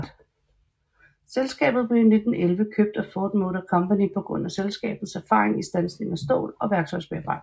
Selskabet blev i 1911 købt af Ford Motor Company på grund af selskabets erfaring i stansning af stål og værktøjsbearbejdning